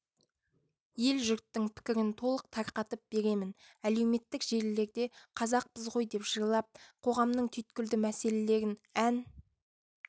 ел-жұрттың пікірін толық тарқатып беремін әлеуметтік желілерде қазақпыз ғой деп жырлап қоғамның түйткілді мәселелерін ән